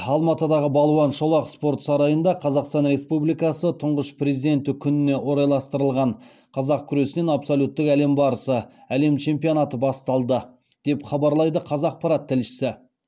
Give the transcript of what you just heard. алматыдағы балуан шолақ спорт сарайында қазақстан республикасы тұңғыш президенті күніне орайластырылған қазақ күресінен абсолюттік әлем барысы әлем чемпионаты басталды деп хабарлайды қазақпарат тілшісі